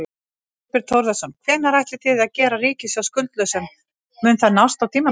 Þorbjörn Þórðarson: Hvenær ætlið þið að gera ríkissjóð skuldlausan, mun það nást á tímabilinu?